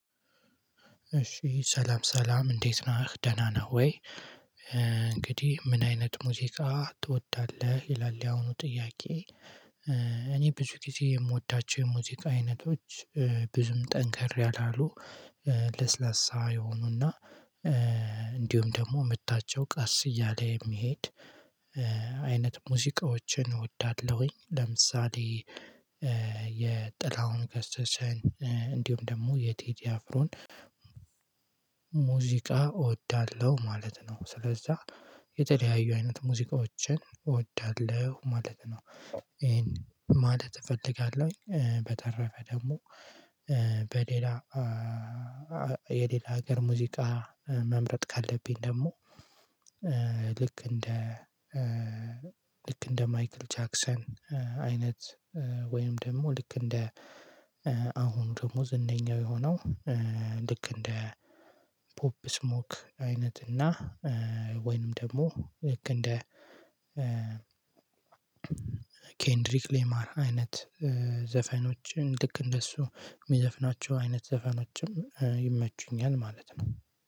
እሺ ሰላም ሰላም እንዴት ነህ ደህና ነህ ወይ እንግዲህ ምን አይነት ሙዚቃ ትወዳለህ ይላል ያሁኑ ጥያቄ? እኔ ብዙ ጊዜ የምወዳቸው የሙዚቃ አይነቶች ብዙም ጠንከር ያላሉ ለስላሳ የሆኑና እንዲሁም ደግሞ ምታቸው ቀስ እያለ የሚሄድ አይነት ሙዚቃዎችን እወዳለሁኝ። ለምሳሌ የጥላሁን ገሰሰን እንዲሁም ደግሞ የቴዴ አፍሮን ሙዚቃ እወዳለሁ ማለት ነው። ስለዛ የተለያዩ አይነት ሙዚቃዎችን እወዳለሁ ማለት ነው። ይሄን ማለት እፈልጋለሁ። በተረፈ ደግሞ በሌላ የሌላ ሀገር ሙዚቃ መምረጥ ካለብኝ ደግሞ ልክ እንደ ልክ እንደ ማይክል ጃክሰን አይነት ወይም ደግሞ ልክ እንደ አሁን ደግሞ ዝነኛው የሆነው ልክ እንደ ፖፕ ስሞክ አይነት እና ወይንም ደግሞ ልክ እንደ ኬንድሪክ ሌማር አይነት ዘፈኖችን ልክ እንደሱ የሚዘፍናቸው አይነት ዘፈኖችም ይመቹኛል። ማለት ነው